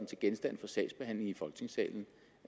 til genstand for sagsbehandling i folketingssalen